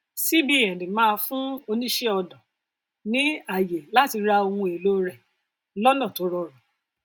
cbn máa fún oníṣẹ ọnà ní àyè láti ra ohun èlò rẹ lọnà tó rọrùn